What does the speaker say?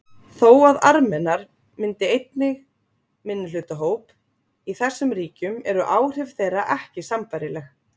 Þó að Armenar myndi einnig minnihlutahópa í þessum ríkjum eru áhrif þeirra ekki sambærileg.